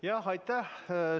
Jah, aitäh!